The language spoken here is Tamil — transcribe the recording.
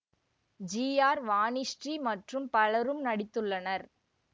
ஜி ஆர் வாணிஸ்ரீ மற்றும் பலரும் நடித்துள்ளனர்